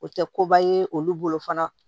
O tɛ koba ye olu bolo fana